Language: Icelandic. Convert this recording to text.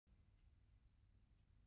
Þvílíkt par sem þarna fór.